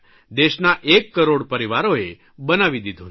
દેશના એક કરોડ પરિવારોએ બનાવી દીધું છે